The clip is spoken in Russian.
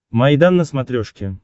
майдан на смотрешке